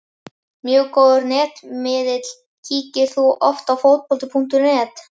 Mjög góður netmiðill Kíkir þú oft á Fótbolti.net?